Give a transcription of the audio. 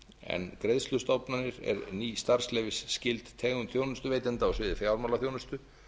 en greiðslustofnanir eru ný starfsleyfisskyld tegund þjónustuveitenda á sviði fjármálaþjónustu